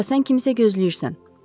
“O'Liva, sən kimsə gözləyirsən.